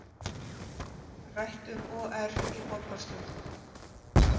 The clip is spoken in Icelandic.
Rætt um OR í borgarstjórn